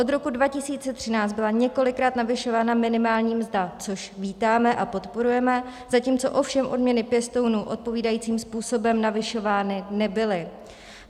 Od roku 2013 byla několikrát navyšována minimální mzda, což vítáme a podporujeme, zatímco ovšem odměny pěstounů odpovídajícím způsobem navyšovány nebyly.